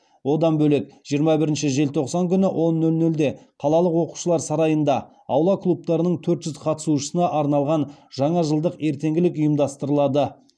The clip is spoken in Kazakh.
одан бөлек жиырма бірінші желтоқсан күні он нөл нөлде қалалық оқушылар сарайында аула клубтарының төрт жүз қатысушысына арналған жаңа жылдық ертеңгілік ұйымдастырылады